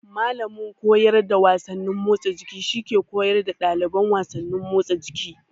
Mallamin koyar da wasannin motsa jiki shi ke koyar da ɗalibai wasannin motsa jiki.